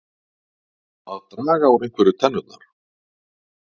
Að draga úr einhverju tennurnar